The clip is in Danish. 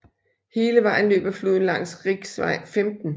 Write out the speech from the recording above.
Hele vejen løber floden langs riksvei 15